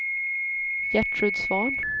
Gertrud Svahn